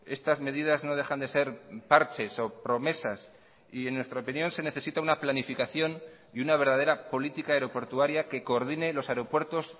estas medidas no dejan de ser parches o promesas y en nuestra opinión se necesita una planificación y una verdadera política aeroportuaria que coordine los aeropuertos